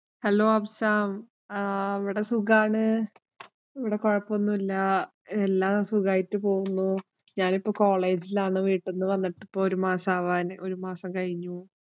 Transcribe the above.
hello Afsam ആഹ് ഇവിടെ സുഖാണ്. ഇവിടെ കൊഴപ്പമൊന്നുമില്ല. എല്ലാം സുഖായിട്ട് പോകുന്നു. ഞാനിപ്പോ college ഇലാണ്. വീട്ടിന്ന്‍ വന്നിട്ട് ഇപ്പൊ ഒരു മാസം ആവാന് ഒരു മാസം കഴിഞ്ഞു.